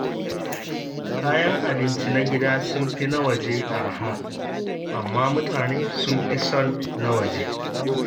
Kayan abinci na gida sun fi na waje araha, amma mutane sun fi son na waje.